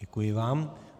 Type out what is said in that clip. Děkuji vám.